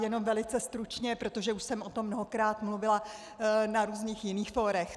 Jenom velice stručně, protože už jsem o tom mnohokrát mluvila na různých jiných fórech.